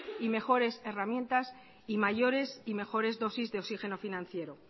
y mejores herramientas y mayores y mejores dosis de oxígeno financiero